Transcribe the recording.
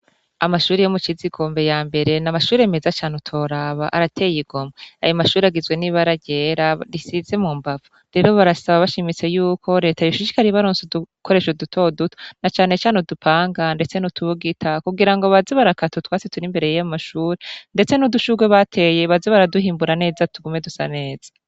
Amashuri yo mu cizi igombe ya mbere n' amashuri meza cane utoraba arateye igomwa aya mashuri agizwe n'ibararyera risize mu mbavu rero barasaba bashimitse yuko reta yoshishikaribaronse udukoresho dutoduto na canecane udupanga, ndetse n'utubugita kugira ngo bazi barakato twasi tura imbere yiyo mashuri, ndetse n'udushurwe bateye bazi baraduhimbura neza tugume dusa neza.